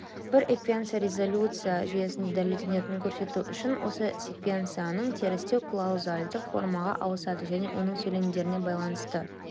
бір еквенцияны резолюция жүйесінде дәлелденетінін көрсету үшін осы секвенцияның терістеуі клаузальді формаға ауысады және оның сөйлемдеріне байланысты